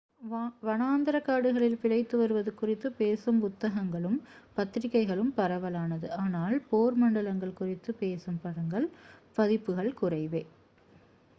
வனாந்தரக் காடுகளில் பிழைத்து வருவது குறித்து பேசும் புத்தகங்களும் பத்திரிகைகளும் பரவலானது ஆனால் போர் மண்டலங்கள் குறித்து பேசும் பதிப்புகள் குறைவே